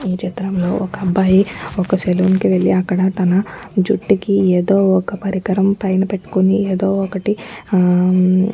ఈ చిత్రంలో ఒక్క అబ్బాయి ఒక్క సెలూన్ కి వెళ్లిఅక్కడ తన జుట్టుకి ఏదో ఒక్క పరికరం పైన పెట్టుకొని ఏదో ఒక్కటి హా ఆ --